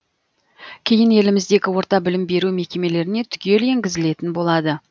кейін еліміздегі орта білім беру мекемелеріне түгел енгізілетін болады